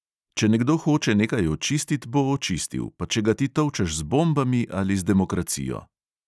Če nekdo hoče nekaj očistit, bo očistil, pa če ga ti tolčeš z bombami ali z demokracijo.